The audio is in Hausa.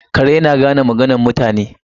Kare na da gane maganar mutane.